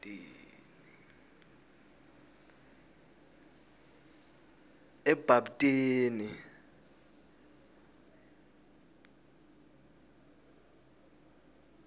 ebhabtini